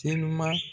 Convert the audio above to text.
Telima